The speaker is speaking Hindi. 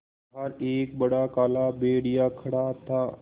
बाहर एक बड़ा काला भेड़िया खड़ा था